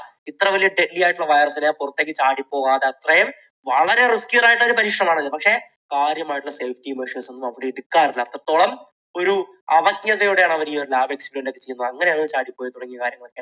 ഇത്ര വലിയ heavy ആയിട്ടുള്ള virus നെ പുറത്തേക്ക് ചാടി പോകാതെ അത്രയും വളരെ risky ആയിട്ടുള്ള ഒരു പരീക്ഷണമാണ് ഇത്. പക്ഷെ കാര്യം ആയിട്ടുള്ള safety measures ഒന്നും കൊടുക്കാറില്ല അത്രത്തോളം ഒരു അവജ്ഞയോടെയാണ് അവർ ഈയൊരു lab experiment ചെയ്തിരുന്നത് അങ്ങനെയാണ് അത് ചാടി പോയത് തുടങ്ങിയ കാര്യങ്ങളൊക്കെ